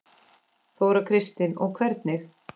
Þóra Kristín: Og hvernig?